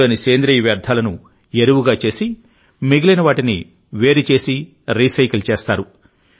అందులోని సేంద్రియ వ్యర్థాలను ఎరువుగా చేసి మిగిలిన వాటిని వేరు చేసి రీసైకిల్ చేస్తారు